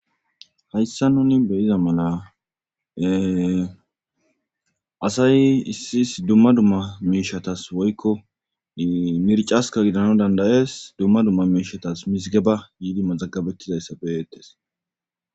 Haysan nuuni be'iza mala asay issi issi dumma dumma miishshatas woykko mirccaskka giddanawu danda'es dumma dumma mishatas yidi mazagabetidaage be'eetees.